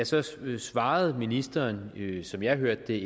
så svarede ministeren ikke som jeg hørte